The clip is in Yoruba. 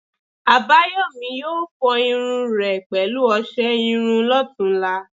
Àbáyòmí yóò fọ irun rẹ̀ pẹ̀lú ọsẹ iru lọ́tunla